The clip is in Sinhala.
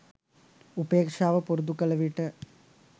උපේක්ෂාව පුරුදු කළ විට